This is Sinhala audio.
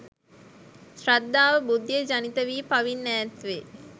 ශ්‍රද්ධාව, බුද්ධිය ජනිතවී පවින් ඈත්වේ.